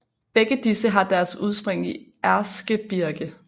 Begge disse har deres udspring i Erzgebirge